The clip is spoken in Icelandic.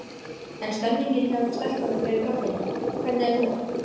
En stemningin hjá ykkur stelpunum fyrir kvöldinu, hvernig er hún?